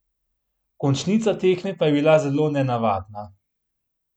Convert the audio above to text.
Končnica tekme pa je bila zelo nenavadna.